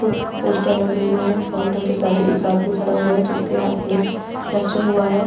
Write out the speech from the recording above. कुछ पोस्टर लगे हुए हैं। काउंटर के सहारे एक आदमी खड़ा हुआ है जिसके हाथ में फेक्चर हुआ है।